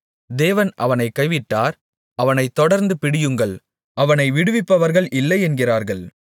தேவன் அவனைக் கைவிட்டார் அவனைத் தொடர்ந்து பிடியுங்கள் அவனை விடுவிப்பவர்கள் இல்லை என்கிறார்கள்